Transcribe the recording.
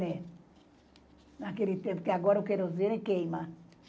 naquele tempo, que agora o querosene queima.